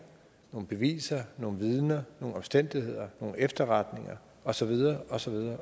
nogle beviser nogle vidner nogle omstændigheder nogle efterretninger og så videre og så videre